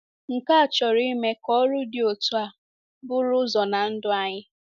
Nke a chọrọ ime ka ọrụ dị otú a buru ụzọ ná ndụ anyị.